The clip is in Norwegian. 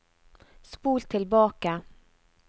spol tilbake